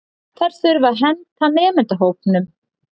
þær þurfa að henta nemendahópnum